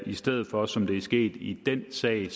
i stedet for som det er sket i den sag